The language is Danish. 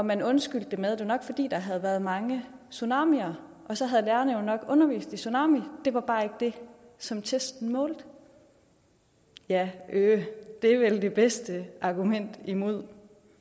man undskyldte det med at det nok var fordi der havde været mange tsunamier og så havde lærerne jo nok undervist i tsunami det var bare ikke det som testene målte ja øh det er vel det bedste argument imod